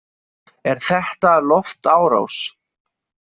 Er þetta loftárás?